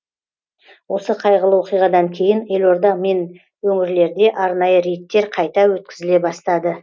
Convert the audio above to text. осы қайғылы оқиғадан кейін елорда мен өңірлерде арнайы рейдтер қайта өткізіле бастады